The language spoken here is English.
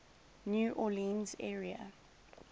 new orleans area